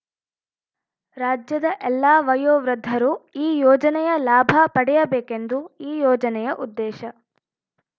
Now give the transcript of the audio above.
ರಾಜ್ಯದ ಎಲ್ಲಾ ವಯೋವೃದ್ಧರು ಈ ಯೋಜನೆಯ ಲಾಭ ಪಡೆಯಬೇಕೆಂದು ಈ ಯೋಜನೆಯ ಉದ್ದೇಶ